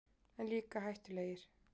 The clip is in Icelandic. En líka hættulegir.